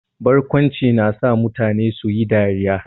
Barkwanci na sa mutane su yi dariya.